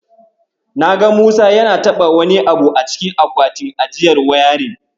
Na ga Musa yana taɓa wani abu a cikin akwatin ajiyar wayarin.